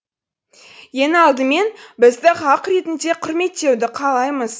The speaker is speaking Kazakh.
ең алдымен бізді халық ретінде құрметтеуді қалаймыз